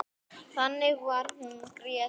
Þannig var hún Gréta.